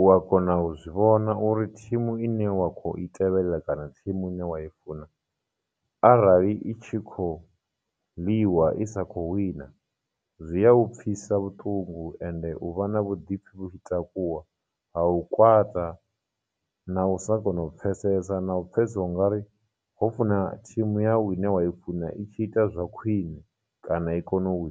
u a kona u zwi vhona uri team ine wa kho i tevhelela kana team ine wa i funa arali i tshi khou ḽiwa i sa kho wina, zwi a u pfhisa vhuṱungu ende hu vha na vhuḓipfhi vhu tshi takuwa, ha u kwata, na u sa kona u pfhesesa, na u pfhesesa ungari ho funa team yau ine wa i funa i tshi ita zwa khwine kana i kone u .